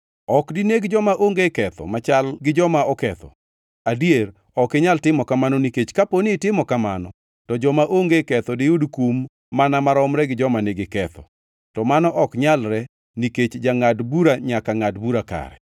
Ok dineg joma onge ketho machal gi joma oketho, adier ok inyal timo kamano nikech kaponi itimo kamano to joma onge ketho diyud kum mana maromre gi joma nigi ketho. To mano ok nyalre nikech jangʼad bura nyaka ngʼad bura kare?”